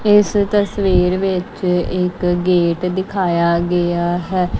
ਇਸ ਤਸਵੀਰ ਵਿੱਚ ਇੱਕ ਗੇਟ ਦਿਖਾਇਆ ਗਿਆ ਹੈ।